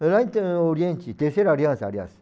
Lá em Oriente, Terceira Aliança, aliás.